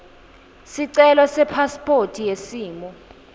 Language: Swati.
sicelo sepasiphothi yesimo